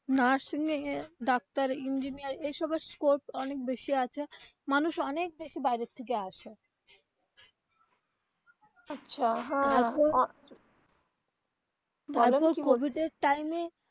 nursing এগিয়ে doctor engineer এইসব এর scope অনেক বেশি আছে মানুষ অনেক বেশি বাইরে থেকে আসে কোভিড এ time এ.